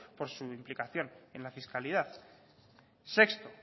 por su implicación en la fiscalidad sexto